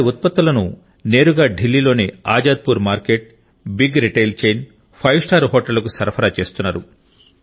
వారి ఉత్పత్తులను నేరుగా ఢిల్లీలోని Azadpur market big retail chain five star హోటళ్లకు సరఫరా చేస్తున్నారు